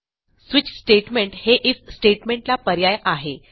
switch statement हे IF statement ला पर्याय आहे